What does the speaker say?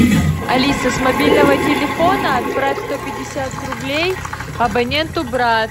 алиса с мобильного телефона отправь сто пятьдесят рублей абоненту брат